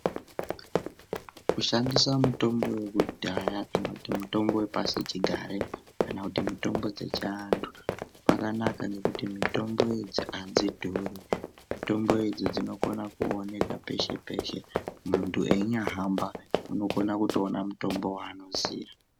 Kushandisa mitombo yekudhaya kana kuti mitombo yepasichigare kana kuti mitombo dzechiantu kwanaka nekuti mitombo idzi hadzidhuri. Mitombo idzi dzinokwanisa kutooneka peshe-peshe, muntu einyahamba anokwanisa kutoona mutombo waanoziya.